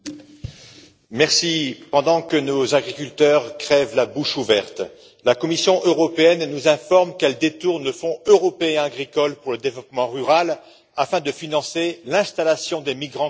Madame la Présidente, pendant que nos agriculteurs crèvent la bouche ouverte, la Commission européenne nous informe qu'elle détourne le Fonds européen agricole pour le développement rural afin de financer l'installation des migrants clandestins.